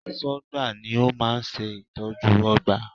Aṣọ́gbà ni ó máa ń ṣe ìtọ́jú ọgbà